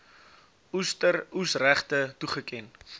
oester oesregte toegeken